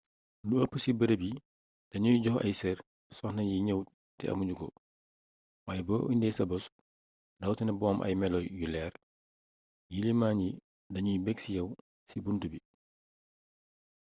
lu eepp ci beereeb yi da nuy jox ay seer soxnayi gneew té amugnuko wayé bo indé sa bos rawatina bu am ay melo yu léér yiliman yi dinagnu bég ci yaw ci buntu bi